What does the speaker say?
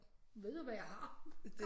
Ved jo hvad jeg har